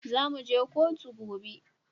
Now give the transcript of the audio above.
Zamu je koto gobe